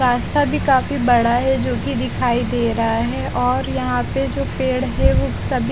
रास्ता भी काफी बड़ा है जो कि दिखाई दे रहा है और यहाँ पे जो पेड़ है वो --